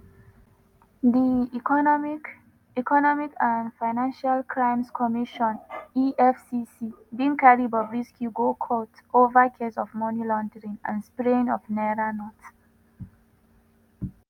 di economic economic and financial crimes commission (efcc) bin carry bobrisky go court ova case of money laundering and spraying of naira notes.